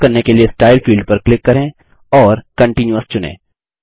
यह करने के लिए स्टाइल फील्ड पर क्लिक करें और कंटीन्यूअस चुनें